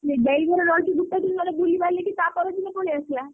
ଦେଇ ଘରେ ରହିକି ଗୋଟେ ଦିନି ନହେଲେ ବୁଲିବାଲିକି ତାପର ଦିନ ପଳେଇଆସିଆ।